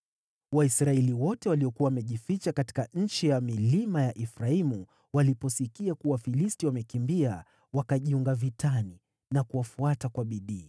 Waisraeli wote waliokuwa wamejificha katika nchi ya milima ya Efraimu waliposikia kuwa Wafilisti wamekimbia, wakajiunga vitani na kuwafuata kwa bidii.